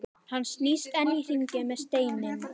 Hann snýst enn í hringi með steininn.